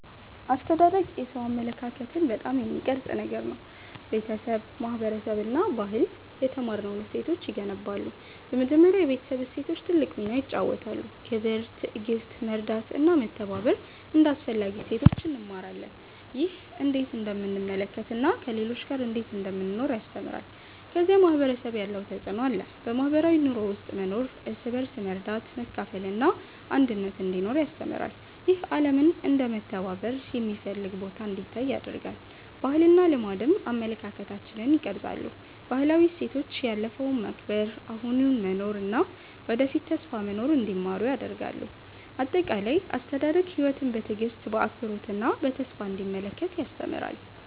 አስተዳደግ የሰው አመለካከትን በጣም የሚቀርጽ ነገር ነው። ቤተሰብ፣ ማህበረሰብ እና ባህል የተማርነውን እሴቶች ይገነባሉ። በመጀመሪያ የቤተሰብ እሴቶች ትልቅ ሚና ይጫወታሉ። ክብር፣ ትዕግሥት፣ መርዳት እና መተባበር እንደ አስፈላጊ እሴቶች እንማራለን። ይህ ሰዎችን እንዴት እንደምንመለከት እና ከሌሎች ጋር እንዴት እንደምንኖር ያስተምራል። ከዚያ ማህበረሰብ ያለው ተፅዕኖ አለ። በማህበራዊ ኑሮ ውስጥ መኖር እርስ በርስ መርዳት፣ መካፈል እና አንድነት እንዲኖር ያስተምራል። ይህ ዓለምን እንደ መተባበር የሚፈልግ ቦታ እንዲታይ ያደርጋል። ባህልና ልማድም አመለካከታችንን ይቀርጻሉ። ባህላዊ እሴቶች ያለፈውን መከብር፣ አሁኑን መኖር እና ወደፊት ተስፋ መኖር እንዲማሩ ያደርጋሉ። አጠቃላይ፣ አስተዳደግ ሕይወትን በትዕግሥት፣ በአክብሮት እና በተስፋ እንዲመለከት ያስተምራል።